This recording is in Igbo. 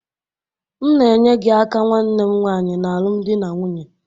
M na-enye gị aka nwanne m nwaanyị n'alụmdi na nwunye